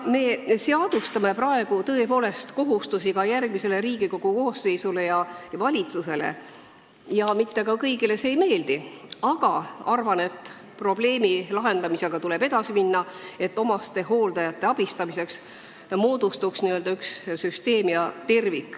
Me seadustame praegu tõepoolest kohustusi ka järgmisele Riigikogu koosseisule ja valitsusele ja mitte kõigile see ei meeldi, aga arvan, et probleemi lahendamisega tuleb edasi minna, et omastehooldajate abistamiseks moodustuks üks terviklik süsteem.